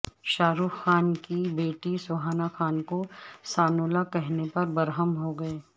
شاہ رخ خان بیٹی سہانا خان کو سانولا کہنے پر برہم ہوگئے